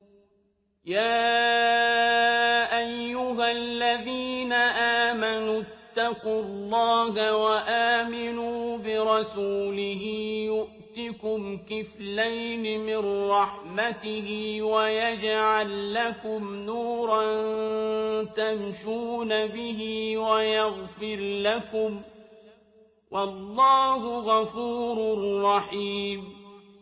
يَا أَيُّهَا الَّذِينَ آمَنُوا اتَّقُوا اللَّهَ وَآمِنُوا بِرَسُولِهِ يُؤْتِكُمْ كِفْلَيْنِ مِن رَّحْمَتِهِ وَيَجْعَل لَّكُمْ نُورًا تَمْشُونَ بِهِ وَيَغْفِرْ لَكُمْ ۚ وَاللَّهُ غَفُورٌ رَّحِيمٌ